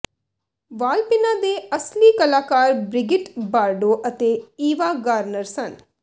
ਵਾਲਪਿੰਨਾਂ ਦੇ ਅਸਲੀ ਕਲਾਕਾਰ ਬ੍ਰਿਗਿਟ ਬਾਰਡੋ ਅਤੇ ਈਵਾ ਗਾਰਨਰ ਸਨ